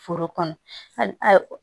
Foro kɔnɔ hali